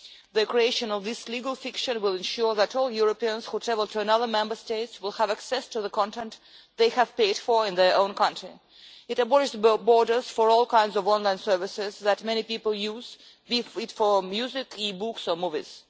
The creation of this legal fiction will ensure that all Europeans who travel to another Member State will have access to the content they have paid for in their own country. It abolishes borders for all kinds of online services that many people use, be it for music, e books or movies.